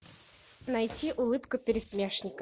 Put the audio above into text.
найти улыбка пересмешника